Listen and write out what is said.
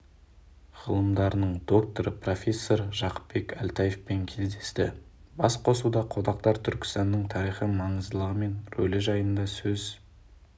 ғылымдарының докторы профессор жақыпбек әлтаевпен кездесті басқосуда қонақтар түркістанның тарихи маңыздылығы мен рөлі жайында сөз